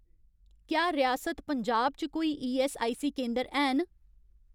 क्या रियासत पंजाब च कोई ईऐस्सआईसी केंदर हैन